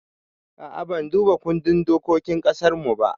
A'a ban duba kundin dokokin ƙasarmu ba